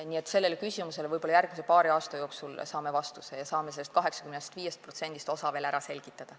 Nii et sellele küsimusele saame võib-olla järgmise paari aasta jooksul vastuse ja saame sellest 85%-st osa ära selgitada.